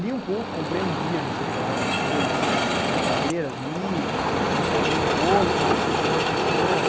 Li um pouco, comprei um guia não sei o quê lá da Folha sobre carreiras, li, me informei um pouco, conversei com algumas pessoas.